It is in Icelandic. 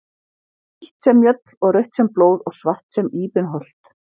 Hvítt sem mjöll og rautt sem blóð og svart sem íbenholt.